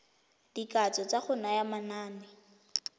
dikatso tsa go naya manane